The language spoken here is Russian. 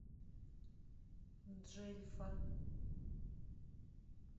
джельфа